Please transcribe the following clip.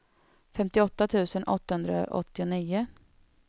femtioåtta tusen åttahundraåttionio